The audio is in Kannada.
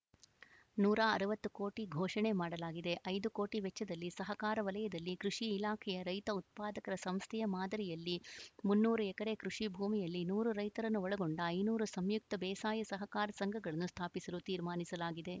ನೂರ ಅರವತ್ತು ಕೋಟಿ ಘೋಷಣೆ ಮಾಡಲಾಗಿದೆ ಐದು ಕೋಟಿ ವೆಚ್ಚದಲ್ಲಿ ಸಹಕಾರ ವಲಯದಲ್ಲಿ ಕೃಷಿ ಇಲಾಖೆಯ ರೈತ ಉತ್ಪಾದಕರ ಸಂಸ್ಥೆಯ ಮಾದರಿಯಲ್ಲಿ ಮುನ್ನೂರು ಎಕರೆ ಕೃಷಿ ಭೂಮಿಯಲ್ಲಿ ನೂರು ರೈತರನ್ನು ಒಳಗೊಂಡ ಐನೂರು ಸಂಯುಕ್ತ ಬೇಸಾಯ ಸಹಕಾರ ಸಂಘಗಳನ್ನು ಸ್ಥಾಪಿಸಲು ತೀರ್ಮಾನಿಸಲಾಗಿದೆ